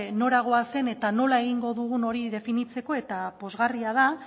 nora goazen eta nola egingo dugun hori definitzeko eta pozgarria da